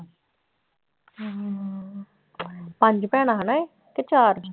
ਹਮ ਪੰਜ ਭੈਣਾਂ ਹਨਾ ਇਹ, ਕਿ ਚਾਰ?